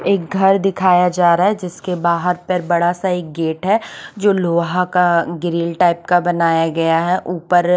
एक घर दिखाया जारा हे जिसके बाहर बड़ा सा गेट हे जो लोहा का ग्रिल टाइप का बनाया गया हे ऊपर --